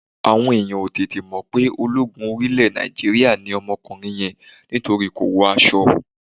Àwọn èèyàn ò tètè mo pe ológun orí ilẹ̀ Nàìjíríà ni ọmọkùnrin yẹn nítorí kò wọ aṣọ